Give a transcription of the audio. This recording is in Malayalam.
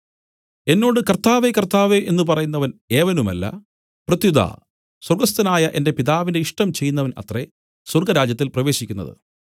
എന്നോട് കർത്താവേ കർത്താവേ എന്നു പറയുന്നവൻ ഏവനുമല്ല പ്രത്യുത സ്വർഗ്ഗസ്ഥനായ എന്റെ പിതാവിന്റെ ഇഷ്ടം ചെയ്യുന്നവൻ അത്രേ സ്വർഗ്ഗരാജ്യത്തിൽ പ്രവേശിക്കുന്നത്